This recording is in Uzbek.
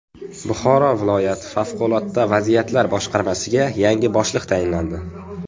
Buxoro viloyati favqulodda vaziyatlar boshqarmasiga yangi boshliq tayinlandi.